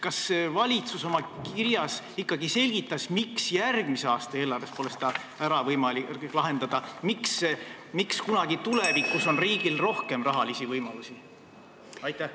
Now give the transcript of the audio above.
Kas valitsus oma kirjas ikkagi selgitas, miks järgmise aasta eelarves pole seda võimalik ära lahendada, miks kunagi tulevikus on riigil rohkem rahalisi võimalusi?